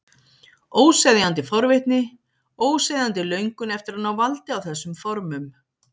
Óseðjandi forvitni, óseðjandi löngun eftir að ná valdi á þessum formum.